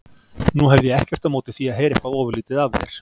Nú hefði ég ekkert á móti því að heyra eitthvað ofurlítið af þér.